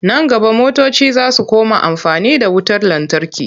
Nan gaba motoci za su koma amfani da wutar lantarki.